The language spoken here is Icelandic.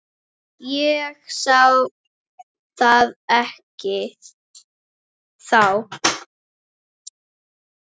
Ég sá það ekki þá.